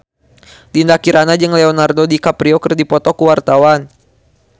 Dinda Kirana jeung Leonardo DiCaprio keur dipoto ku wartawan